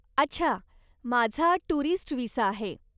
अच्छा, माझा tourist visa आहे.